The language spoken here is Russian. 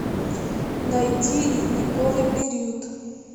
найти ледниковый период